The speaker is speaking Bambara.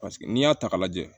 Paseke n'i y'a ta k'a lajɛ